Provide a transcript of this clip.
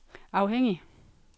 afhængig